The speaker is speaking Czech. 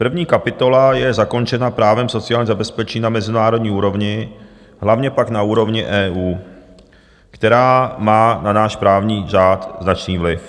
První kapitola je zakončena právem sociálního zabezpečení na mezinárodní úrovni, hlavně pak na úrovni EU, která má na náš právní řád značný vliv.